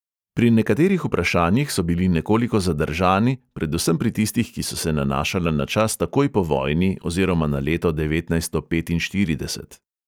Pri nekaterih vprašanjih so bili nekoliko zadržani, predvsem pri tistih, ki so se nanašala na čas takoj po vojni oziroma na leto devetnajststo petinštirideset.